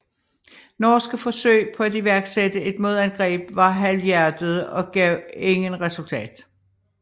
Norske forsøg på at iværksætte et modangreb var halvhjertede og gav ingen resultat